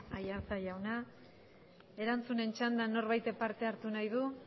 aiartza jauna erantzunen txandan norbaitek parte hartu nahi du